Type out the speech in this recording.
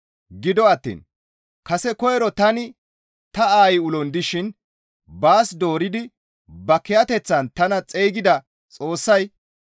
Gido attiin kase koyro tani ta aayi ulon dishin baas dooridi ba kiyateththan tana xeygida Xoossay,